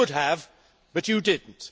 You could have, but you did not.